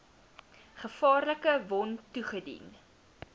gevaarlike wond toegedien